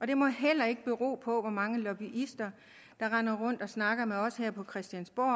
det må heller ikke bero på hvor mange lobbyister der render rundt og snakker med os her på christiansborg